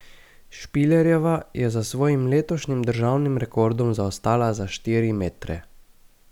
Špilerjeva je za svojim letošnjim državnim rekordom zaostala za štiri metre.